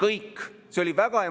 Jürgen Ligi, palun!